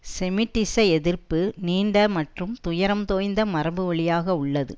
செமிட்டிச எதிர்ப்பு நீண்ட மற்றும் துயரம் தோய்ந்த மரபு வழியாக உள்ளது